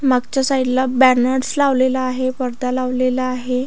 मागच्या साइडला बॅनर्स लावलेला आहे पडदा लावलेला आहे.